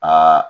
Aa